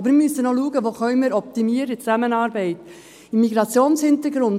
Aber wir müssen noch schauen, wo wir die Zusammenarbeit optimieren können.